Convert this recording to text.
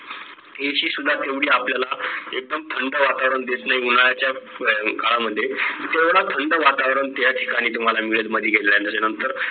AC तेवढी आपल्याला एकदम थंड वातावरण देत नाही उन्हाळ्याच्या काळामध्ये तेवढा थंड वातावरण त्या ठिकाणी तुम्हाला मिळेल May मधी गेल्यानंतर त्याच्या नंतर